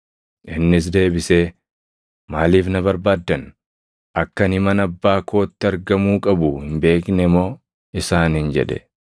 Innis deebisee, “Maaliif na barbaaddan? Akka ani mana Abbaa kootti argamuu qabu hin beekne moo?” isaaniin jedhe.